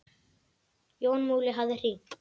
Jón Múli hafði hringt.